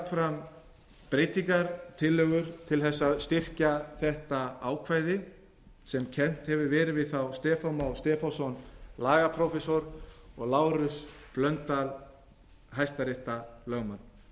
fram breytingartillögur til þess að styrkja þetta ákvæði sem kennt hefur verið við þá stefán má stefánsson lagaprófessor og lárus blöndal hæstaréttarlögmann